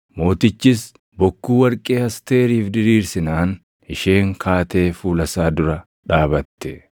Mootichis bokkuu warqee Asteeriif diriirsinaan isheen kaatee fuula isaa dura dhaabatte.